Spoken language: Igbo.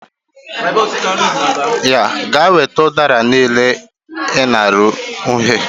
Gaa weta udara niile i nara ụnyahụ